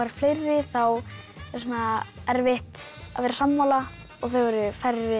fleiri þá er erfitt að vera sammála og þau eru færri